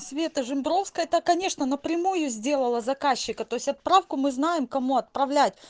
света жембровская это конечно напрямую сделала заказчика то есть отправку мы знаем кому отправлять